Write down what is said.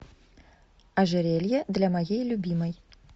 ожерелье для моей любимой